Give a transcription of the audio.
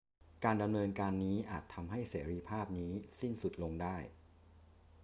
การดำเนินการนี้อาจทำให้เสรีภาพนี้สิ้นสุดลงได้